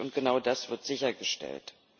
wichtig, und genau das wird sichergestellt.